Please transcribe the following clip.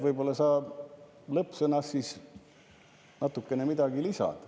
Võib-olla sa lõppsõnas siis natukene midagi lisad.